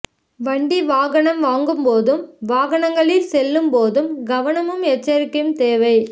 வண்டி வாகனம் வாங்கும் போதும் வாகனங்களில் செல்லும் போது கவனமும் எச்சரிக்கையும் தேவை